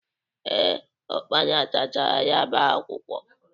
Ee, ụkpana tachara ya bụ akwụkwọ.